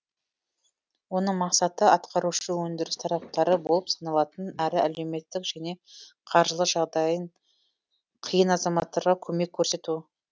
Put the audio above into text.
оның мақсаты атқарушы өндіріс тараптары болып саналатын әрі әлеуметтік және қаржылық жағдайы қиын азаматтарға көмек көрсету